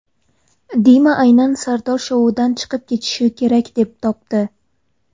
Dima aynan Sardor shoudan chiqib ketishi kerak, deb topdi.